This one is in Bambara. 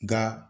Nka